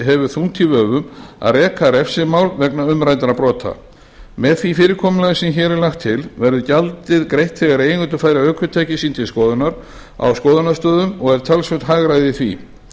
hefur þungt í vöfum að reka refsimál vegna umræddra brota með því fyrirkomulagi sem hér er lagt til verður gjaldið greitt þegar eigendur færa ökutæki sín til skoðunar á skoðunarstöðvum og er talsvert hagræði í því